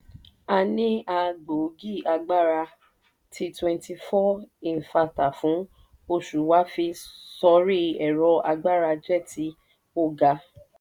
a ní a gbóògì agbára tí twenty four infátà fún osù wá fi sọrí ẹ̀rọ agbára jẹ́ tí o ga.